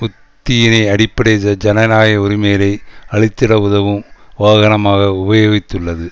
உத்தியினை அடிப்படை ஜனநாயக உரிமைகளை அழித்திட உதவும் வாகனமாக உபயோகித்துள்ளது